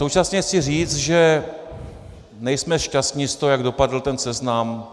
Současně chci říct, že nejsme šťastni z toho, jak dopadl ten seznam.